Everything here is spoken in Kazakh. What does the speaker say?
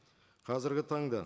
қазіргі таңда